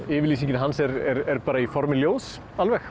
yfirlýsingin hans er í formi ljóðs